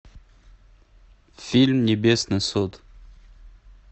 фильм небесный суд